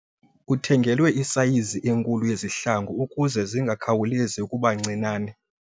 Uthengelwe isayizi enkulu yezihlangu ukuze zingakhawulezi ukuba ncinane.